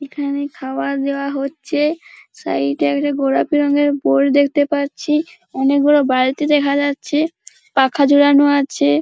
এখানে খাওয়া দেওয়া হচ্ছে সাইড -এ একটা গোলাপি রঙের বোর্ড দেখতে পাচ্ছি অনেক বড় বালতি দেখা যাচ্ছে পাখা ঝোলানো আছে ।